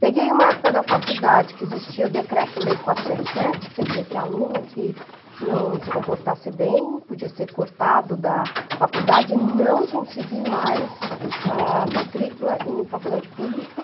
Peguei uma época da faculdade que existia o decreto-lei quatro sete sete, quer dizer, que aluno que não se comportasse bem podia ser cortado da faculdade e não conseguir mais, ah, matrícula em faculdade pública.